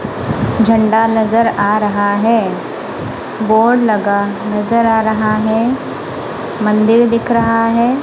झंडा नजर आ रहा है बोर्ड लगा नजर आ रहा हैं मंदिर दिख रहा हैं।